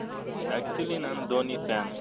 actually ನಾನು Dhoni fan